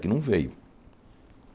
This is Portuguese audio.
Que não veio.